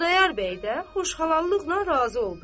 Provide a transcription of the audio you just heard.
Xudayar bəy də xoşxallıqla razı oldu.